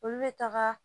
Olu bɛ taga